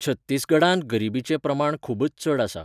छत्तीसगडांत गरिबीचें प्रमाण खूबच चड आसा.